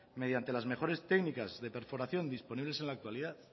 mediante las mejoras técnicas de perforación disponibles en la actualidad